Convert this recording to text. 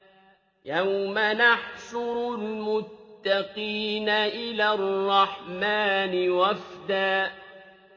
يَوْمَ نَحْشُرُ الْمُتَّقِينَ إِلَى الرَّحْمَٰنِ وَفْدًا